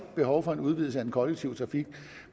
behov for en udvidelse af den kollektive trafik